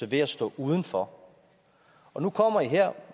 ved at stå uden for og nu kommer i her